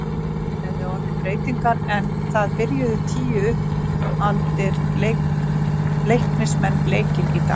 Það hafa orðið breytingar en það byrjuðu tíu uppaldir Leiknismenn leikinn í dag.